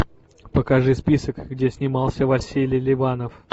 покажи список где снимался василий ливанов